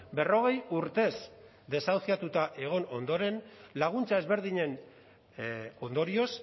berrogei urtez desahuziatuta egon ondoren laguntza ezberdinen ondorioz